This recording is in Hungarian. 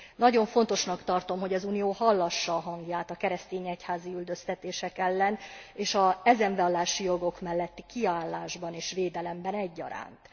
Nagyon fontosnak tartom, hogy az Unió hallassa a hangját a keresztény egyházi üldöztetések ellen, és az ezen vallási jogok melletti kiállásban és védelemben egyaránt.